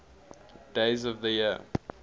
days of the year